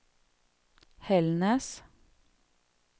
Hällnäs